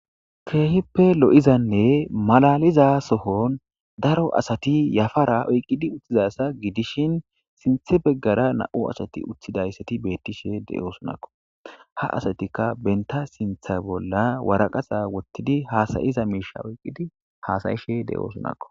keehippe lo7izanne malaliza sohon daro asati yafara oyqqidi uttizasa gidishin sinthe beggara na7u ashati utthidayssati beettishe de7oosunakko ha asatikka benta sintha bolla waraqaxa wottidi haasayiza miisha oyqqidi haasayishe de7oosunakko